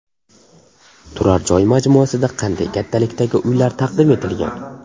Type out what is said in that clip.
Turar joy majmuasida qanday kattalikdagi uylar taqdim etilgan?